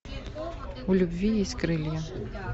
у любви есть крылья